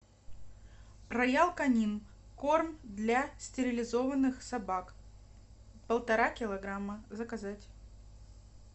роял канин корм для стерилизованных собак полтора килограмма заказать